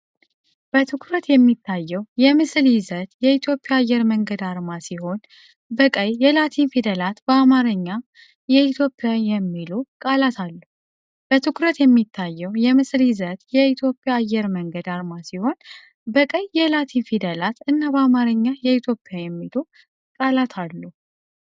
በትኩረት የሚታየው የምስል ይዘት የኢትዮጵያ አየር መንገድ አርማ ሲሆን፣ በቀይ የላቲን ፊደላት በአማርኛ “የኢትዮጵያ” የሚሉ ቃላት አሉ። በትኩረት የሚታየው የምስል ይዘት የኢትዮጵያ አየር መንገድ አርማ ሲሆን፣ በቀይ የላቲን ፊደላት “Ethiopian” እና በአማርኛ “የኢትዮጵያ” የሚሉ ቃላት አሉ።